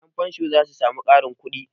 Yanfansho za su sami ƙarin kudi.